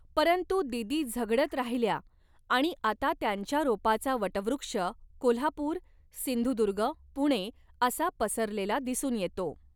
परंतु दीदी झगडत राहिल्या आणि आता त्यांच्या रोपाचा वटवृक्ष कोल्हापूर, सिंधदुर्ग, पुणे असा पसरलेला दिसून येतो.